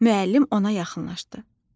Müəllim ona yaxınlaşdı.